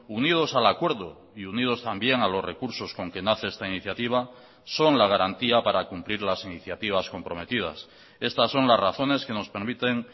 unidos al acuerdo y unidos también a los recursos con que nace esta iniciativa son la garantía para cumplir las iniciativas comprometidas estas son las razones que nos permiten